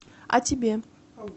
а тебе